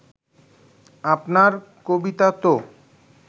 আপনার কবিতা তো